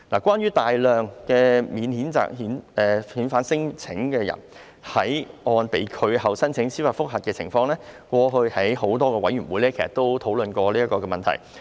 關於大量免遣返聲請人士在個案被拒後申請司法覆核的情況，過去在多個委員會已討論過。